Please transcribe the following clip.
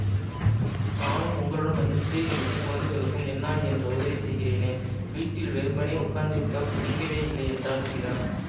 நானும் உங்களுடன் வந்து ஸ்திரீகளுக்கு குழந்தைகளுக்கும் என்னால் இயன்ற உதவி செய்கிறேனே வீட்டில் வெறுமனே உட்கார்ந்திருக்கப் பிடிக்கவே இல்லை என்றாள் சீதா